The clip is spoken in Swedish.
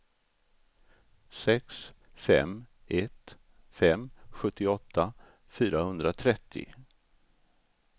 sex fem ett fem sjuttioåtta fyrahundratrettio